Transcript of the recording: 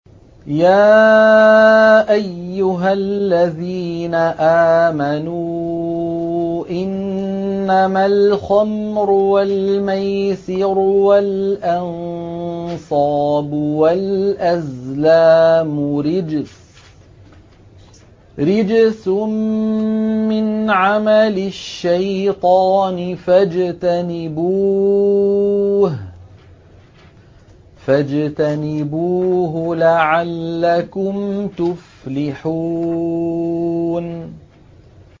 يَا أَيُّهَا الَّذِينَ آمَنُوا إِنَّمَا الْخَمْرُ وَالْمَيْسِرُ وَالْأَنصَابُ وَالْأَزْلَامُ رِجْسٌ مِّنْ عَمَلِ الشَّيْطَانِ فَاجْتَنِبُوهُ لَعَلَّكُمْ تُفْلِحُونَ